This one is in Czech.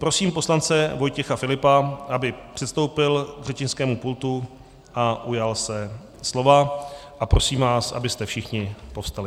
Prosím poslance Vojtěcha Filipa, aby přistoupil k řečnickému pultu a ujal se slova, a prosím vás, abyste všichni povstali.